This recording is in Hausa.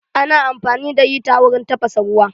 Ana amfani da hita wurin tafasa ruwa